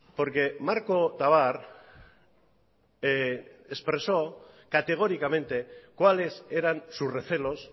porque marco tabar expresó categóricamente cuáles eran sus recelos